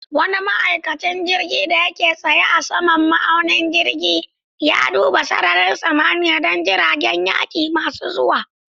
Wani ma'aikacin jirgin da yake tsaye a saman ma'aunin jirgin, ya duba sararin samaniya don jiragen yaƙi masu zuwa.